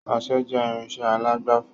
Ọsẹ jẹ irinsẹ́ alágbàfọ̀